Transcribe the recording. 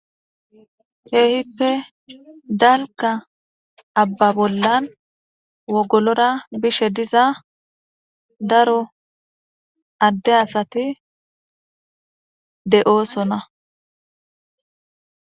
heehippe dalka abba bollan wogolora bishe diza daro adde asati de7oosona